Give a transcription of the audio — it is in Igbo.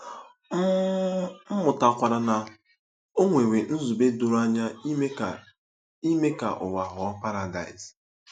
M mụtakwara na o nwere nzube doro anya ime ka ime ka ụwa ghọọ paradaịs.